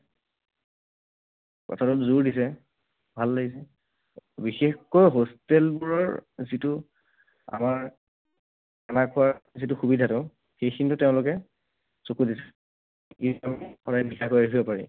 কথাটোত জোৰ দিছে। ভাল লাগিছে। বিশেষকৈ hostel বোৰৰ যিটো আমাৰ খানা খোৱাৰ যিটো সুবিধাটো, সেইখিনিতো তেওঁলোকে চকু দিছে।